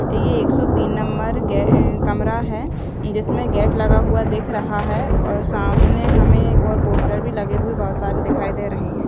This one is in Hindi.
ये एक सो तीन नंबर कमरा है जिसमे गेट लगा हुआ दिख रहा है ओर सामने हमें और पोस्टर भी लगे हुए बहोत सारे दिखाई रहे है।